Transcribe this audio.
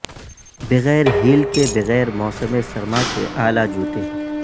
بغیر ہیل کے بغیر موسم سرما کے اعلی جوتے